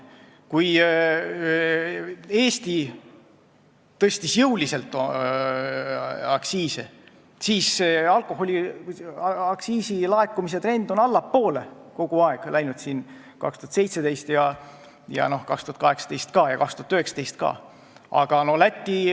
Kui Eesti tõstis jõuliselt aktsiise, siis alkoholiaktsiisi laekumise trend läks 2017 ja 2018 allapoole, see on nii ka 2019.